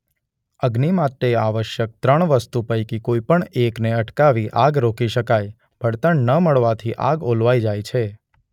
અગ્નિ માટે આવશ્યક ત્રણ વસ્તુ પૈકી કોઈ પણ એક ને અટકાવી આગ રોકી શકાય:બળતણ ન મળવાથી આગ ઓલવાઈ જાય છે.